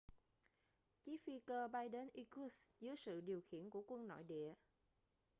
chiếc phi cơ bay đến irkutsk dưới sự điều khiển của quân nội địa